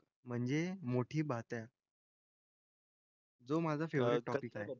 म्हणजे मोठी बात आहे. जो माझा टॉपिक आहे.